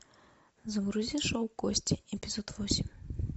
загрузи шоу кости эпизод восемь